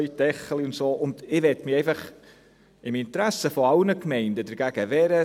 Ich möchte mich im Interesse aller Gemeinden dagegen wehren.